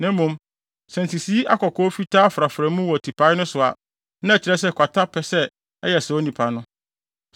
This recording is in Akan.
Na mmom, sɛ nsisii akɔkɔɔ a fitaa frafra mu wɔ tipae no so a, na ɛkyerɛ sɛ ebia kwata pɛ sɛ ɛyɛ saa onipa no.